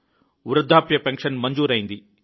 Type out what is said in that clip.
వృద్ధాప్య పెన్షన్ మంజూరైంది